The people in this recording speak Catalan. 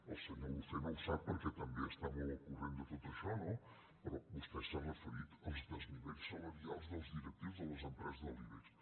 el senyor lucena ho sap perquè també està molt al corrent de tot això no però vostè s’ha referit als desnivells salarials dels directius de les empreses de l’ibex